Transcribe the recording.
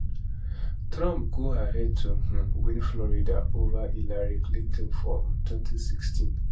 trump go ahead to um win florida ova hillary clinton for um 2016